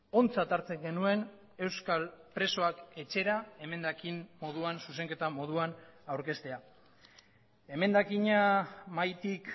ontzat hartzen genuen euskal presoak etxera emendakin moduan zuzenketa moduan aurkeztea emendakina mahaitik